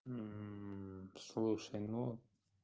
слушай ну